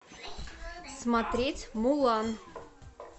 смотреть мулан